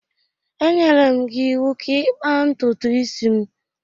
E nyere m gị iwu ka ị kpaa ntutu isi m!